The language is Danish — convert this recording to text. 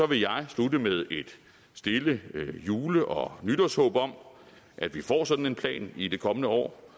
vil jeg slutte med et stille jule og nytårshåb om at vi får sådan en plan i de kommende år